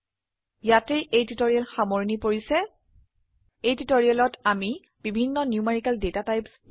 ইয়াতে এই টিউটৰীয়েল সামৰনি পৰিছে এই টিউটৰিয়েলত আমি বেভিন্ন নিউমেৰিকেল ডাটাটাইপছ